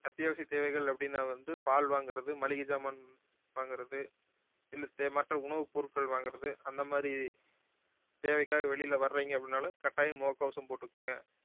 அத்தியாவசிய தேவைகள் அப்படின்னா வந்து பால் வாங்குறது, மளிகை சாமான் வாங்குறது இல்ல தெ~ மற்ற உணவுப் பொருட்கள் வாங்குறது அந்த மாதிரி தேவைக்காக வெளியில வர்றீங்க அப்படின்னாலும் கட்டாயம் முககவசம் போட்டுக்குங்க